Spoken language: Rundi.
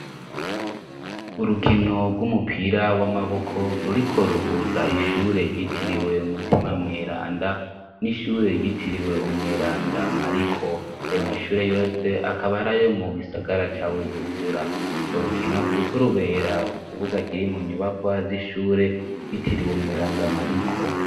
Urukino rw'umupira w'amaboko ruriko ruhuza ishure ryitiriwe mutima mweranda n'ishure ryitiriwe umweranda mariko ayo mashure yose akabarayo mu gisagara ca bujumbura ngo rukino riko rubera ku kibuga kiri mu nyubakwa z'ishure yitiriweumwa randamariko.